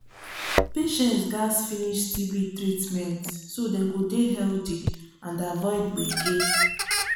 patients gats finish tb treatment so dem go dey healthy and avoid gbege.